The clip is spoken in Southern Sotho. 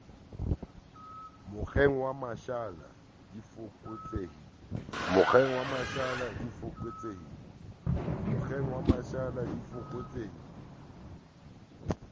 mokgeng wa mashala di fokotsehile